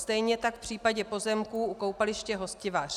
Stejně tak v případě pozemků u koupaliště Hostivař.